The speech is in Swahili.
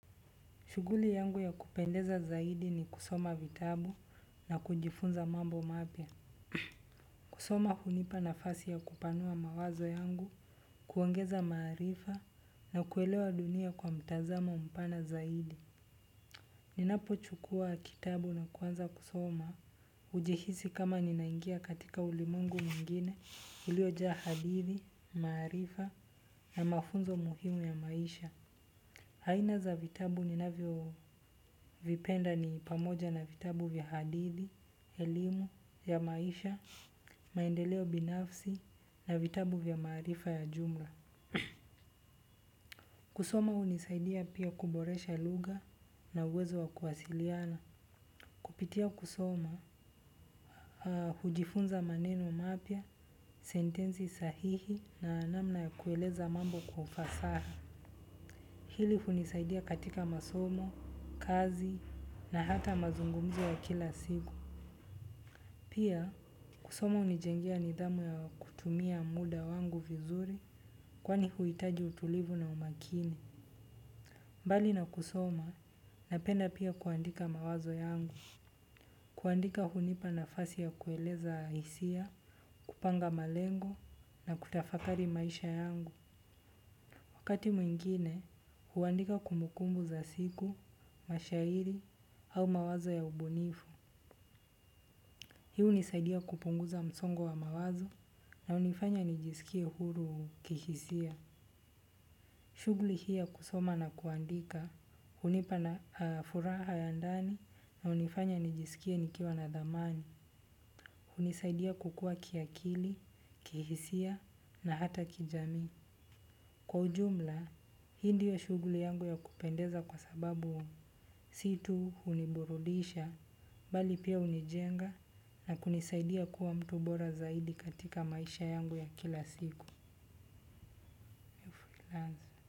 Shuguli yangu ya kupendeza zaidi ni kusoma vitabu na kujifunza mambo mapya. Kusoma hunipa nafasi ya kupanua mawazo yangu, kuongeza maarifa na kuelewa dunia kwa mtazamo mpana zaidi. Ninapo chukua kitabu na kuanza kusoma hujihisi kama ninaingia katika ulimwengu mwingine uliojaa hadithi, maarifa na mafunzo muhimu ya maisha. Aina za vitabu ninavyo vipenda ni pamoja na vitabu vya hadithi elimu ya maisha maendeleo binafsi na vitabu vya maarifa ya jumla kusoma hunisaidia pia kuboresha lugha na uwezo wa kuwasiliana. Kupitia kusoma, hujifunza maneno mapya, sentensi sahihi na namna ya kueleza mambo kwa ufasaha. Hili hunisaidia katika masomo, kazi na hata mazungumzo ya kila siku. Pia kusoma hunijengea nidhamu ya kutumia muda wangu vizuri kwani huhitaji utulivu na umakini. Mbali na kusoma, napenda pia kuandika mawazo yangu. Kuandika hunipa nafasi ya kueleza hisia, kupanga malengo na kutafakari maisha yangu. Wakati mwingine, huandika kumbukumbu za siku, mashairi, au mawazo ya ubunifu. Hii hunisadia kupunguza msongo wa mawazo na hunifanya nijiskie huru kihisia. Shuguli hii ya kusoma na kuandika, hunipa na furaha ya ndani na hunifanya nijisikie nikiwa na dhamani. Hunisaidia kukua kiakili, kihisia na hata kijamii. Kwa ujumla, hii ndio shuguli yangu ya kupendeza kwa sababu si tu huniburudisha, bali pia hunijenga na kunisaidia kuwa mtu bora zaidi katika maisha yangu ya kila siku.